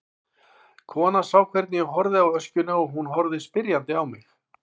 Konan sá hvernig ég horfði á öskjuna og hún horfði spyrjandi á mig.